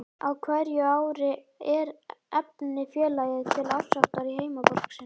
Á hverju ári efndi félagið til árshátíðar í heimaborg sinni